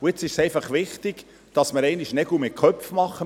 Nun ist es einfach wichtig, dass wir einmal Nägel mit Köpfen machen.